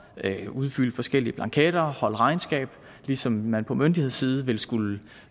at udfylde forskellige blanketter holde regnskab ligesom man på myndighedssiden vil skulle